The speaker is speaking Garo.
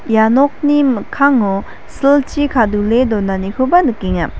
ia nokni mikkango silchi kadule donanikoba nikenga.